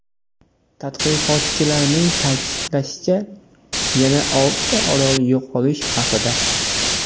Tadqiqotchilarning ta’kidlashicha, yana oltita orol yo‘qolish xavfida.